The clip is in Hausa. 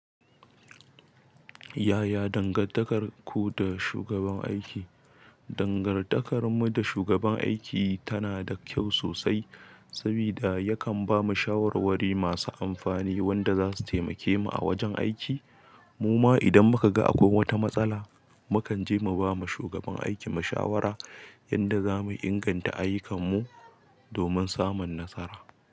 Yaya dangantakarku da shugaban aiki? Dangantakarmu da shugaban aiki tana da kyau sosai, sabida yakan bamu shawarwari masu amfani wanda zasu taimake mu a wajen aiki. Muma idan muka ga akwai wata matsala, mukan je mu bama shugaban aiki mashawara yanda zamu inganta ayyukanmu domin samun nasara.